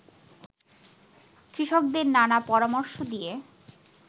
কৃষকদের নানা পরামর্শ দিয়ে